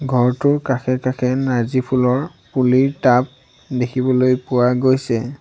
ঘৰটোৰ কাষে কাষে নাৰ্জীফুলৰ পুলিৰ টাব দেখিবলৈ পোৱা গৈছে।